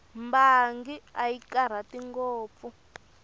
mbangi a yi karhati ngopfu